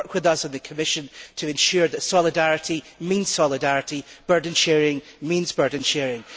Work with us and the Commission to ensure that solidarity means solidarity, burden sharing means burden sharing.